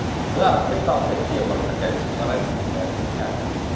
да приставка сепар такая сепаратистская хуйня короче